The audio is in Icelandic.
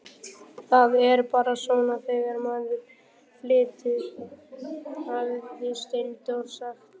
Það er bara svona þegar maður flytur, hafði Steindór sagt.